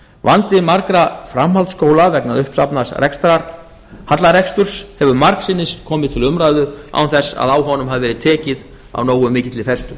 vandi margra framhaldsskóla vegna uppsafnaðs hallareksturs hefur margsinnis komið til umræðu án þess að á honum hafi verið tekið af nógu mikilli festu